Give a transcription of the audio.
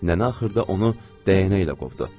Nənə axırda onu dəyənəklə qovdu.